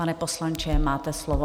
Pane poslanče, máte slovo.